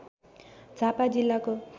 झापा जिल्लाको